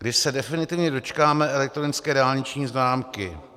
Kdy se definitivně dočkáme elektronické dálniční známky?